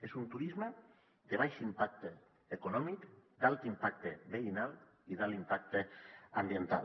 és un turisme de baix impacte econòmic d’alt impacte veïnal i d’alt impacte ambiental